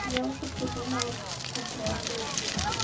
я уже придумала как их потратить